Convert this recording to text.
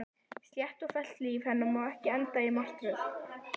Slétt og fellt líf hennar má ekki enda í martröð.